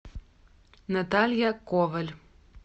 наталья коваль